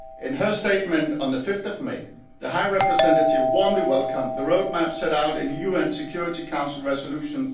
In her statement on 5 May, the High Representative warmly welcomed the roadmap set out in UN Security Council Resolution